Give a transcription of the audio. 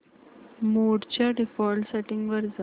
मोड च्या default settings वर जा